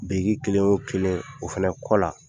Biriki kelen o kelen o fɛnɛ kɔ la.